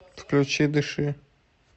включи дыши